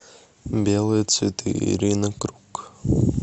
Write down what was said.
белые цветы ирина круг